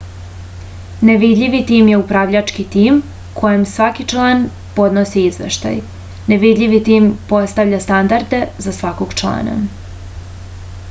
nevidljivi tim je upravljački tim kojem svaki član podnosi izveštaj nevidljivi tim postavlja standarde za svakog člana